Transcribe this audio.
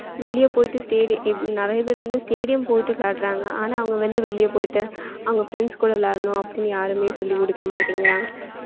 வெளிய போய்ட்டு stadi~ நிறைய பேர் வந்து stadium போய்ட்டு விளையாடறாங்க ஆனா அவன் வந்து வெளில போயிட்டு அவன் friends கூட விளையாடலாம்னு அப்டின்னு யாருமே சொல்லி குடுக்க மாட்டிங்கறாங்க